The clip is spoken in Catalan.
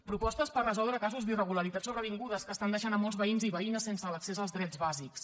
propostes per resoldre casos d’irregularitats sobrevingudes que estan deixant molts veïns i veïnes sense l’accés als drets bàsics